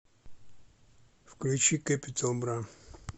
включи кэпитал бра